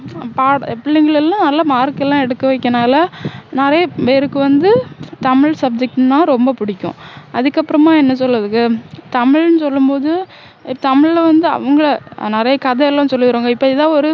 பிள்ளைங்கள் எல்லாம் நல்ல mark எல்லாம் எடுக்க வைக்கனால நிறைய பேருக்கு வந்து தமிழ் subject னா ரொம்ப புடிக்கும் அதுக்கப்பறமா என்ன சொல்ல இதுக்கு தமிழ்னு சொல்லும்போது தமிழ்ல வந்து அவங்க நிறைய கதை எல்லாம் சொல்லித்தருவாங்க இப்போ இதா ஒரு